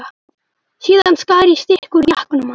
Síðan skar ég stykki úr jakkanum hans.